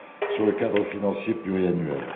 sur le cadre financier pluriannuel.